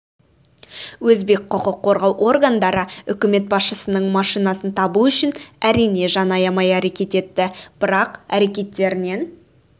өзбек құқық қорғау органдары үкімет басшысының машинасын табу үшін әрине жан аямай әрекет етті бірақ әрекеттерінен